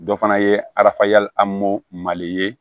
Dɔ fana ye arafa yali amo mali ye